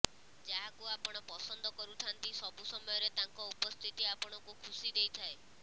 ଯାହାକୁ ଆପଣ ପସନ୍ଦ କରୁଥାନ୍ତି ସବୁ ସମୟରେ ତାଙ୍କ ଉପସ୍ଥିତି ଆପଣଙ୍କୁ ଖୁସି ଦେଇଥାଏ